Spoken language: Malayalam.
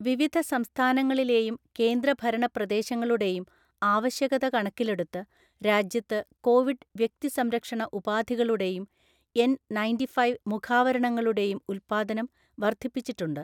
വിവിധ സംസ്ഥാനങ്ങളിലെയും കേന്ദ്രഭരണ പ്രദേശങ്ങളുടെയും ആവശ്യകത കണക്കിലെടുത്ത് രാജ്യത്ത് കോവിഡ് വ്യക്തിസംരക്ഷണ ഉപാധികളുടെയും എന്‍ ണയന്റ്റിഫൈവ് മുഖാവരണങ്ങളുടെയും ഉൽപാദനം വർധിപ്പിച്ചിട്ടുണ്ട്.